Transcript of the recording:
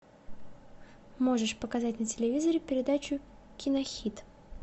можешь показать на телевизоре передачу кинохит